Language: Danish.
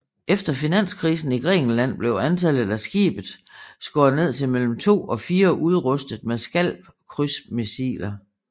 Efter finanskrisen i Grækenland blev antallet af skibet skåret ned til mellem to og fire udrustet med SCALP krydsermissiler